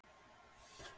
Ég er að pæla í einu.